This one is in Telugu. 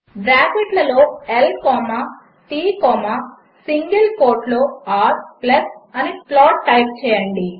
బ్రాకెట్లలో L comma T comma single కోట్లో r అని ప్లాట్ టైప్ చేయండి